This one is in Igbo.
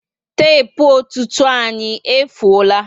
Tepu ọtụtụ anyị efuola